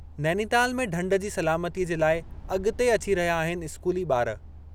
नैनीताल में ढंढ जी सलामतीअ जे लाइ अगि॒ते अची रहिया आहिनि इस्कूली ॿार....